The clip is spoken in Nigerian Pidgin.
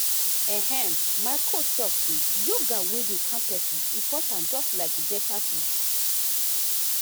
ehm my coach talk say yoga wey dey calm person important just like better food.